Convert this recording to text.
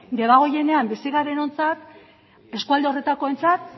debagoienean bizi garenontzat eskualde horretakoentzat